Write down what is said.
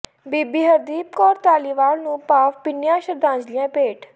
ਬੀਬੀ ਹਰਦੀਪ ਕੌਰ ਧਾਲੀਵਾਲ ਨੂੰ ਭਾਵ ਭਿੰਨੀਆਂ ਸ਼ਰਧਾਂਜਲੀਆਂ ਭੇਟ